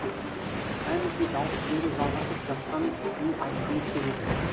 әлі де дауыс беру жалғасып жатқанын айтқымыз келеді